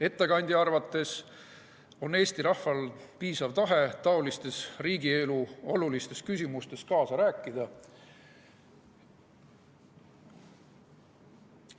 Ettekandja arvates on Eesti rahval piisav tahe taolistes olulistes riigielu küsimustes kaasa rääkida.